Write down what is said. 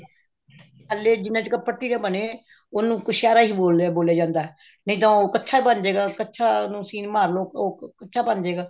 ਥੱਲੇ ਜਿਵੇਂ ਅੱਜਕਲ ਪੱਟੀ ਦੇ ਬਣੇ ਆ ਉਹਨੂੰ ਕ੍ਛੇਰਾ ਹੀ ਬੋਲਦੇ ਬੋਲਿਆ ਜਾਂਦਾ ਨਹੀਂ ਤਾਂ ਕੱਛਾ ਬਣਜੇਗਾ ਕੱਛਾ ਨੂੰ ਸੀਨ ਮਾਰਲੋ ਉਹ ਕੱਛਾ ਬਣਜੇਗਾ